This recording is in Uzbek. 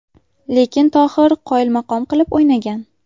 Lekin Tohir qoyilmaqom qilib o‘ynagan.